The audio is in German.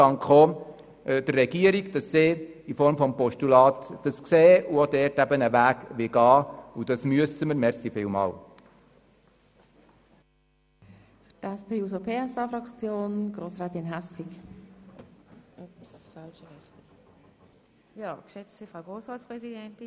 Ich danke der Regierung, dass sie zur Annahme des Postulats bereit ist und einen Weg gehen will, was wir auch tun müssen.